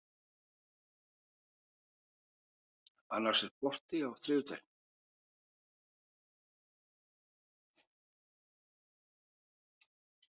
Anders, er bolti á þriðjudaginn?